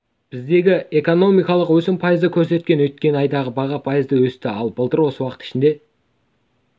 біздегі экономикалық өсім пайызды көрсеткен өткен айда баға пайызға өсті ал былтыр осы уақыт ішінде